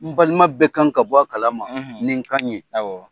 N balima bɛɛ kan ka bɔ a kalama ni n kan ye.